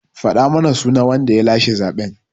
Faɗa mana sunan wanda ya lashe zaɓen!